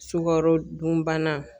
Sukaro dunbana